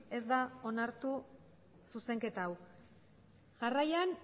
ez da onartu zuzenketa hau jarraian